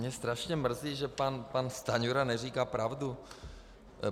Mě strašně mrzí, že pan Stanjura neříká pravdu.